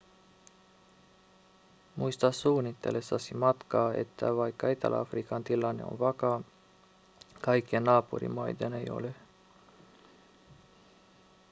muista suunnitellessasi matkaa että vaikka etelä-afrikan tilanne on vakaa kaikkien naapurimaiden ei ole